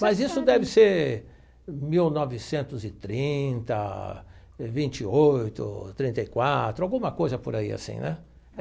Mas isso deve ser mil novecentos e trinta, vinte e oito, trinta e quatro, alguma coisa por aí assim, né?